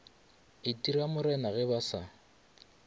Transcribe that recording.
itira morena ge ba sa